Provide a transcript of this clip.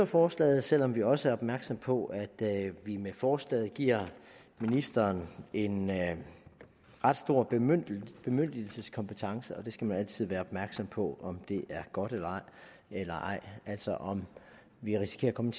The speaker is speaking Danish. forslaget selv om vi også er opmærksomme på at vi med forslaget giver ministeren en ret stor man skal altid være opmærksom på om det er godt eller ej altså om vi risikerer at komme